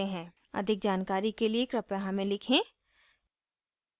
अधिक जानकारी के लिए कृपया हमें लिखें